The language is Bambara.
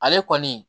Ale kɔni